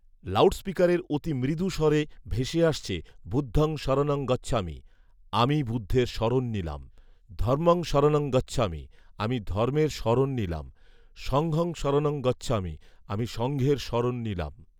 লাউডস্পিকারে অতি মৃদু স্বরে ভেসে আসছে , বুদ্ধং শরণং গচ্ছামি, আমি বুদ্ধের শরণ নিলাম, ধম্মং শরণং গচ্ছামি, আমি ধর্মের শরণ নিলাম, সংঘং শরণং গচ্ছামি, আমি সংঘের শরণ নিলাম